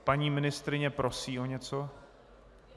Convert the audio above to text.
Paní ministryně prosí o něco?